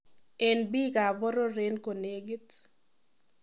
En biik ab boror en konegit.